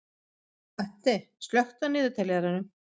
Addi, slökktu á niðurteljaranum.